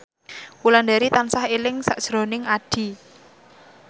Wulandari tansah eling sakjroning Addie